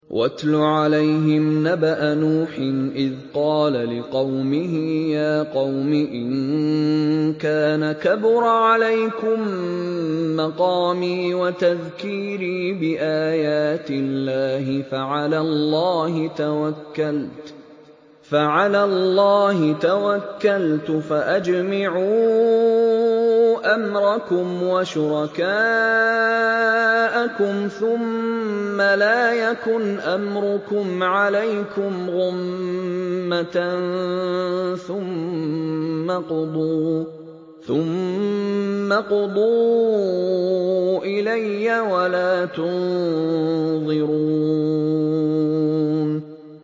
۞ وَاتْلُ عَلَيْهِمْ نَبَأَ نُوحٍ إِذْ قَالَ لِقَوْمِهِ يَا قَوْمِ إِن كَانَ كَبُرَ عَلَيْكُم مَّقَامِي وَتَذْكِيرِي بِآيَاتِ اللَّهِ فَعَلَى اللَّهِ تَوَكَّلْتُ فَأَجْمِعُوا أَمْرَكُمْ وَشُرَكَاءَكُمْ ثُمَّ لَا يَكُنْ أَمْرُكُمْ عَلَيْكُمْ غُمَّةً ثُمَّ اقْضُوا إِلَيَّ وَلَا تُنظِرُونِ